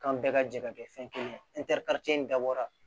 Kan bɛɛ ka jɛ ka kɛ fɛn kelen ye in dabɔra